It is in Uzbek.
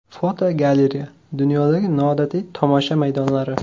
Fotogalereya: Dunyodagi noodatiy tomosha maydonlari.